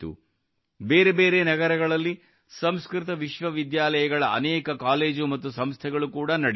ಬೇರೆ ಬೇರೆ ನಗರಗಳಲ್ಲಿ ಸಂಸ್ಕೃತ ವಿಶ್ವವಿದ್ಯಾಲಯಗಳ ಅನೇಕ ಕಾಲೇಜು ಮತ್ತು ಸಂಸ್ಥೆಗಳು ಕೂಡಾ ನಡೆಯುತ್ತಿವೆ